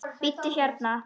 Bíddu hérna.